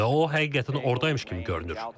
Və o həqiqətən ordaymış kimi görünür.